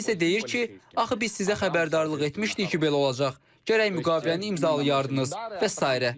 Tramp isə deyir ki, axı biz sizə xəbərdarlıq etmişdik ki, belə olacaq, gərək müqaviləni imzalayardınız və sairə.